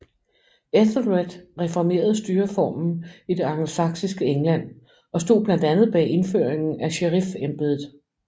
Ethelred reformerede styreformen i det angelsaksiske England og stod blandt andet bag indføringen af sheriffembedet